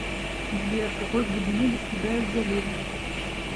сбер какой глубины достигают заливы